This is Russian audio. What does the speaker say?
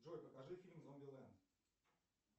джой покажи фильм зомбилэнд